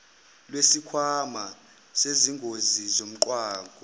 lwesikhwama sezingozi zomgwaqo